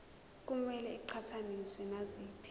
kumele iqhathaniswe naziphi